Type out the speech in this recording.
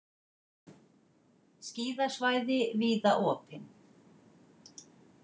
Skíðasvæði víða opin